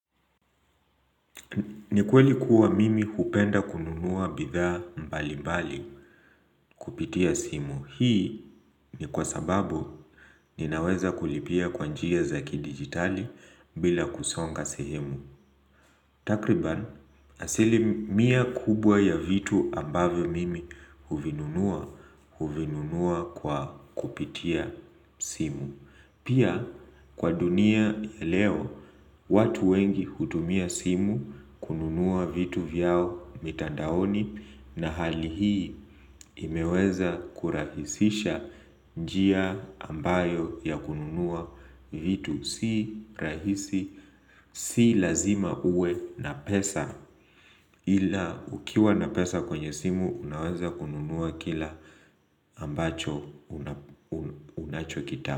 Nikweli kuwa mimi hupenda kununua bitha mbali mbali kupitia simu. Hii ni kwa sababu ninaweza kulipia kwa njia za kidigitali bila kusonga sehemu. Takriban, asili mia kubwa ya vitu ambavyo mimi huvinunua, huvinunua kwa kupitia simu. Pia kwa dunia ya leo watu wengi hutumia simu kununua vitu vyao mitandaoni na hali hii imeweza kurahisisha njia ambayo ya kununua vitu si rahisi si lazima uwe na pesa ila ukiwa na pesa kwenye simu unaweza kununua kila ambacho unachokita.